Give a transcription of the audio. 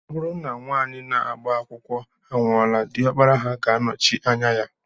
Ọ bụrụ na nna nwaanyị na-agba akwụkwọ anwụọla, diọkpara ha ga-anọchi anya ya